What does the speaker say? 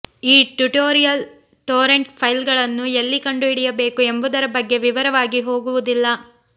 ಈ tutorial torrent ಫೈಲ್ಗಳನ್ನು ಎಲ್ಲಿ ಕಂಡುಹಿಡಿಯಬೇಕು ಎಂಬುದರ ಬಗ್ಗೆ ವಿವರವಾಗಿ ಹೋಗುವುದಿಲ್ಲ